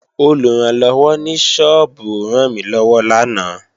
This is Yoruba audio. Olùrànlọ́wọ́ ní sọ́ọ́bù rànmílọ́wọ́ lánàá